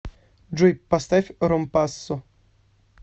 джой поставь ромпассо